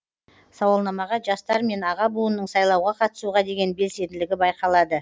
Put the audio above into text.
сауалнамаға жастар мен аға буынның сайлауға қатысуға деген белсенділігі байқалады